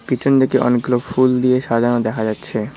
পিছনদিকে অনেকগুলো ফুল দিয়ে সাজানো দেখা যাচ্ছে।